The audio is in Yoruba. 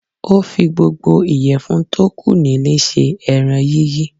Ó fi gbogbo ìyèfun tó kù nílé sé eran yíyí